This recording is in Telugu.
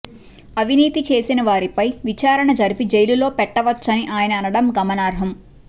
అవినీతి చేసిన వారిపై విచారణ జరిపి జైలులో పెట్టవచ్చని ఆయన అనడం గమనార్హం